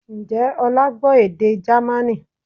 Ǹjẹ́ ọlá gbọ́ èdè Jamaní?